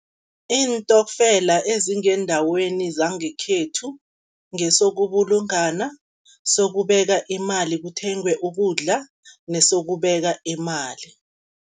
Iintokfela ezingendaweni zangekhethu, ngesokubulungana, sokubeka imali kuthengwe ukudla nesokubeka imali.